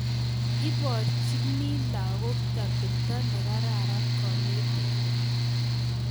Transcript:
Iborchini lagook atepto negararan konetindet